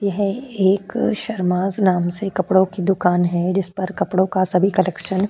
यह एक शरमास नाम से कपड़ों की दुकान है। जिस पर कपड़ों का सभी कलेक्शन --